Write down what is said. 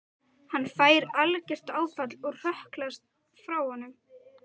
Hann fær algert áfall og hrökklast frá honum.